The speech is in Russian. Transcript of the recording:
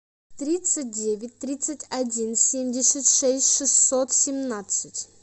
тридцать девять тридцать один семьдесят шесть шестьсот семнадцать